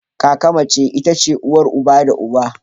Kaka mace itace uwar uba da uwa.